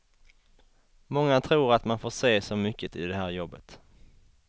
Många tror att man får se så mycket i det här jobbet.